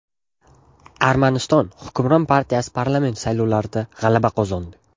Armaniston hukmron partiyasi parlament saylovlarida g‘alaba qozondi.